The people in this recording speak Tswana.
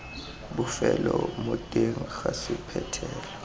bofelo mo teng ga sephuthelo